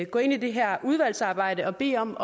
gå ind i det her udvalgsarbejde og bede om